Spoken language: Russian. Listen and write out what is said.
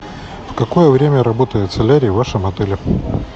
в какое время работает солярий в вашем отеле